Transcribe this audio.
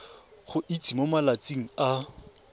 go itsise mo malatsing a